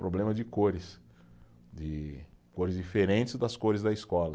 Problema de cores, de cores diferentes das cores da escola.